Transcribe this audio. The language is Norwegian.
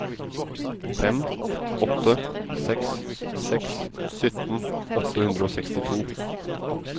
fem åtte seks seks sytten åtte hundre og sekstito